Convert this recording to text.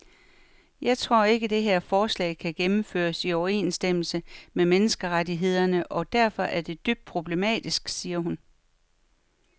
Jeg tror ikke, det her forslag kan gennemføres i overensstemmelse med menneskerettighederne og derfor er det dybt problematisk, siger hun.